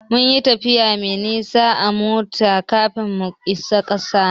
Mun yi tafiya mai nisa a mota kafin mu isa Katsina.